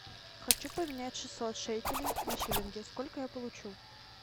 хочу поменять шестьсот шекелей на шиллинги сколько я получу